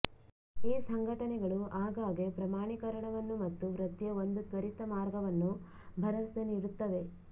ಈ ಸಂಘಟನೆಗಳು ಆಗಾಗ್ಗೆ ಪ್ರಮಾಣೀಕರಣವನ್ನು ಮತ್ತು ವೃತ್ತಿಯ ಒಂದು ತ್ವರಿತ ಮಾರ್ಗವನ್ನು ಭರವಸೆ ನೀಡುತ್ತವೆ